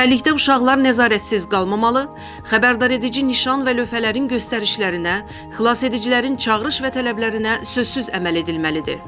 Çimərlikdə uşaqlar nəzarətsiz qalmamalı, xəbərdaredici nişan və lövhələrin göstəricilərinə, xilasedicilərin çağırış və tələblərinə sözsüz əməl edilməlidir.